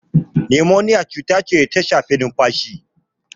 Nimoniya cuta ce da ta shafi numfashi.